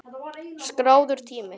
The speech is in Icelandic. Skráður tími